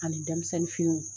Ani denmisɛnnin finiw